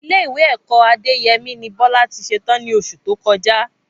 Ilé ìwé ẹ̀kọ́ Adéyẹmí ni Bọlá tí ṣe tán ní oṣù tó kọjá